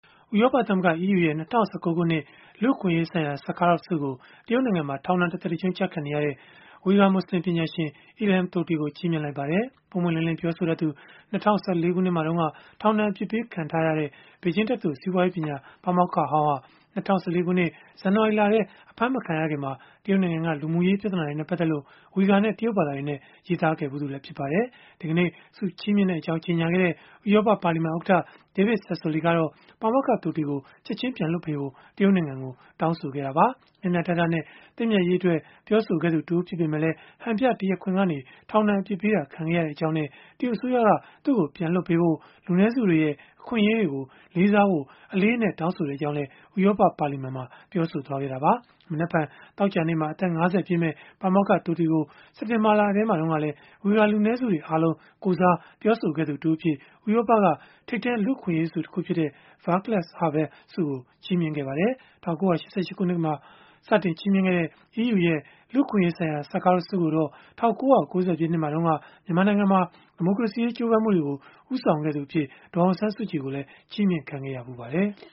ဥရောပသမဂ္ဂ (EU) ရဲ့ ၂၀၁၉ ခုနှစ် လူ့အခွင့်အရေးဆိုင်ရာ Sakharov ဆုကို တရုတ်နိုင်ငံမှာ ထောင်ဒဏ် တသက်တကျွန်း ကျခံနေရတဲ့ ဝီဂါမွတ်ဆလင် ပညာရှင် Ilham Tohti ကို ချီးမြှင့်လိုက်ပါတယ်။ ပွင့်ပွင့်လင်းလင်း ပြောဆိုတတ်သူ ၂၀၁၄ ခုနှစ်မှာတုန်းက ထောင်ဒဏ် အပြစ်ပေးခံခဲ့ရတဲ့ ဘေဂျင်းတက္ကသိုလ် စီးပွားရေးပညာ ပါမောက္ခဟောင်းဟာ ၂၀၁၄ ခုနှစ် ဇန်နဝါရီလက အဖမ်းမခံရခင်မှာ တရုတ်နိုင်ငံက လူမှုရေးပြဿနာတွေနဲ့ ပတ်သက်လို့ ဝီဂါနဲ့ တရုတ်ဘာသာတွေနဲ့ ရေးသားခဲ့ဖူးပါတယ်။ ဒီကနေ့ ဆုချီးမြှင့်ကြောင်း ကြေညာခဲ့တဲ့ ဥရောပပါလီမန်ဥက္ကဋ္ဌ David Sassoli ကတော့ ပါမောက္ခ Tohti ကို ချက်ခြင်းပြန်လွှတ်ပေးဖို့ တရုတ်နိုင်ငံကို တောင်းဆိုခဲ့ပါတယ်။ မျှမျှတတနဲ့ သင့်မြတ်ရေးအတွက် ပြောဆိုခဲ့သူတဦး ဖြစ်ပေမဲ့လည်း ဟန်ပြတရားခွင်ကနေ ထောင်ဒဏ်အပြစ်ပေးခံခဲ့ရကြောင်းနဲ့ တရုတ်အစိုးရက ပြန်လွှတ်ပေးဖို့နဲ့ လူနည်းစုတွေရဲ့ အခွင့်အရေးတွေကို လေးစားဖို့ အလေးအနက် တောင်းဆိုကြောင်းလည်း ဥရောပ ပါလီမန်မှာ ပြောဆိုခဲ့တာပါ။ မနက်ဖြန် သောကြာနေ့မှာ အသက် ၅၀ ပြည့်မယ့် ပါမောက္ခ Tohti ကို စက်တင်ဘာလထဲမှာတုန်းကလည်း ဝီဂါလူနည်းစုတွေ အားလုံးကိုယ်စား ပြောဆိုခဲ့သူအဖြစ် ဥရောပက ထိပ်တန်း လူ့အခွင့်အရေးဆု တခုဖြစ်တဲ့ Vaclav Havel ဆု ချီးမြှင့်ခဲ့ပါတယ်။ ၁၉၈၈ ခုနှစ်ကနေ စတင်ချီးမြှင့်ခဲ့တဲ့ EU ရဲ့ လူ့အခွင့်အရေးဆိုင်ရာ Sakharov ဆုကိုတော့ ၁၉၉၀ ပြည့်နှစ်မှာတုန်းက မြန်မာနိုင်ငံမှာ ဒီမိုကရေစီရေး ကြိုးပမ်းမှုတွေကို ဦးဆောင်သူအဖြစ် ဒေါ်အောင်ဆန်းစုကြည် ကိုလည်း ချီးမြှင့်ခံခဲ့ရဖူးပါတယ်။